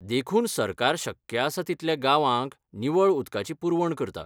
देखून सरकार शक्य आसा तितल्या गांवांक निवळ उदकाची पुरवण करता.